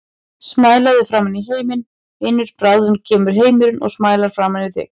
Smælaðu framan í heiminn, vinur, bráðum kemur heimurinn og smælar framan í þig.